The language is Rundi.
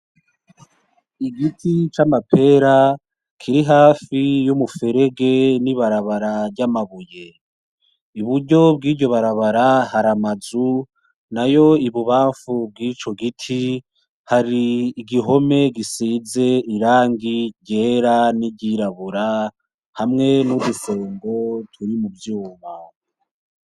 N'igiti c'amapera kiri hafi y'umuferege n'ibarabara ry'amabuye, iburyo bw'iryo barabara har'amazu nayo ibubamfu bwico giti hari igihome gisize irangi ryera n'iryirabura hamwe n'udusongo turi mu vyuma.